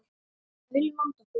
Við viljum vanda okkur.